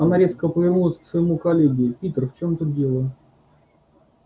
она резко повернулась к своему коллеге питер в чём тут дело